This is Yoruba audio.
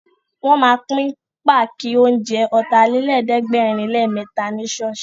Wọ́n ma pín páàkì oúnjẹ Ọ̀tàlélẹ̀ẹ́dẹ́gbẹ̀rinlémẹ́ta ní ṣọ́ọ̀ṣì